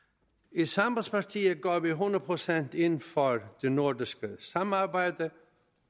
i sambandspartiet går vi hundrede procent ind for det nordiske samarbejde